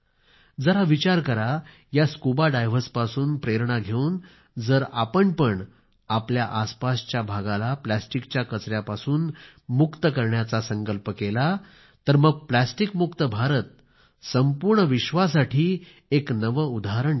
जरा विचार करा या स्कुबा डायव्हर्स पासून प्रेरणा घेऊन जर आपण पण आपल्या आसपासच्या भागाला प्लास्टिकच्या कचऱ्यापासून मुक्त करायचा संकल्प केला तर मग प्लास्टिक मुक्त भारत संपूर्ण विश्वासाठी एक नवे उदाहरण ठरेल